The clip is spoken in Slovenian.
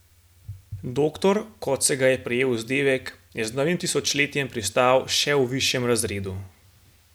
Doktor, kot se ga je prijel vzdevek, je z novim tisočletjem pristal še v višjem razredu.